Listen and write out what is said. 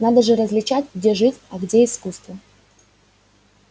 надо же различать где жизнь а где искусство